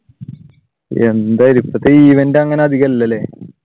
എന്താലേ ഇപ്പഴത്തെ event അങ്ങനെയധികം ഇല്ലല്ലേ?